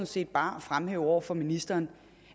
set bare at fremhæve over for ministeren